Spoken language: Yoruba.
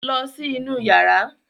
Lọ sí inú yàrá!